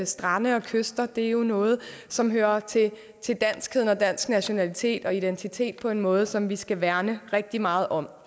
strande og kyster er jo noget som hører til til danskheden og dansk nationalitet og identitet på en måde som vi skal værne rigtig meget om